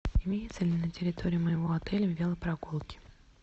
имеются ли на территории моего отеля велопрогулки